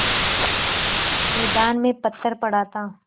मैदान में पत्थर पड़ा था